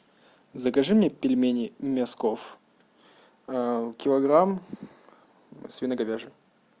закажи мне пельмени мясков килограмм свино говяжьи